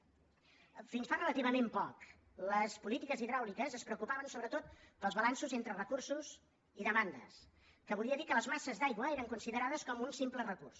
fins fa relativament poc les polítiques hidràuliques es preocupaven sobretot pels balanços entre recursos i demandes que volia dir que les masses d’aigua eren considerades com un simple recurs